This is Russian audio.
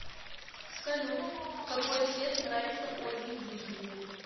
салют какой цвет нравится ольге юрьевне